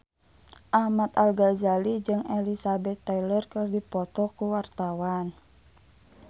Ahmad Al-Ghazali jeung Elizabeth Taylor keur dipoto ku wartawan